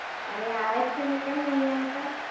અરે આવે જ છે ને! કેમ નઈ આવતા?